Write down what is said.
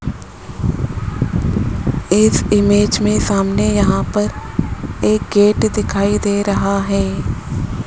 इस इमेज में सामने यहां पर एक गेट दिखाई दे रहा है।